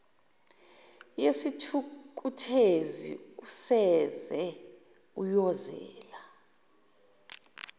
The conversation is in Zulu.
yesithukuthezi useze uyozela